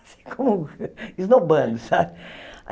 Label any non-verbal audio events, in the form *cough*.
Assim *laughs* como um esnobando, sabe?